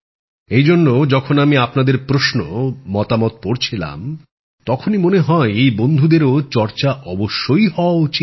এই জন্য যখন আমি আপনাদের প্রশ্ন মতামত পড়ছিলাম তখনই মনে হয় এই বন্ধুদেরও চর্চাও অবশ্যই হওয়া উচিৎ